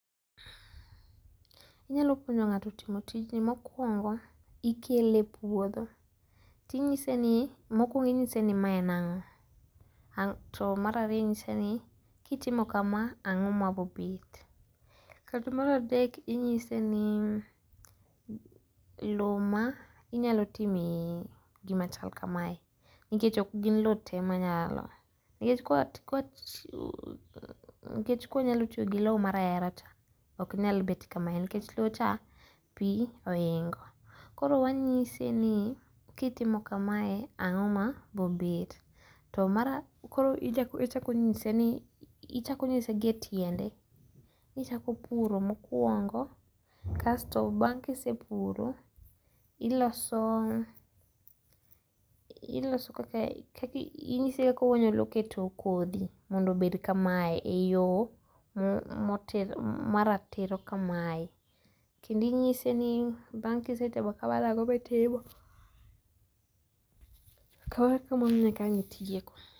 Inyalo puonjo ng'ato timo tijno mokuongo ikele e puodho. Tinyise ni, mokwongo inyise ni ma en ang'o. To mar ariyo inyise ni kitimo kama ang'o ma bobet. To mar adek inyise ni lo ma inyalo timie gima chal kamae nikech ok gin lo te manyal. Nikech konyalo tiyo gi lo mar rahera cha ok nyal bet kame nikech lo cha pi oingo. Koro wanyise ni kitimo kamae ang'o ma bobet. Tokoro ichako nyise ni ichako nyise gi etiende ichako puro mokwongo kasto bang' kisepuro iloso ikaka inyise kaka onyalo keto kodhi mondo obed kamae e yo maratiro kamae kendo inyise ni bang' kisetimo kamano ang'o mitimo koro ma kanyo itieko.